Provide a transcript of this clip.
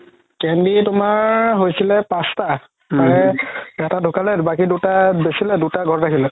কেন্দি তুমাৰ হৈছিলে পাচতা তাৰে এটা ধুকালে বাকি দুটা বেচিলে দুটা ঘৰত ৰাখি দিলে